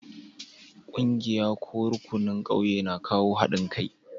Ƙungiyar ko rukunin ƙauye na kawo haɗin kai.